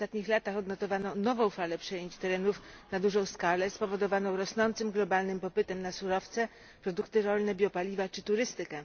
W ostatnich latach odnotowano nową falę przejęć terenów na dużą skalę, spowodowaną rosnącym globalnym popytem na surowce, produkty rolne, biopaliwa czy turystykę.